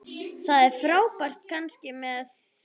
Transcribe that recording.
Það frábær fannst mér þú.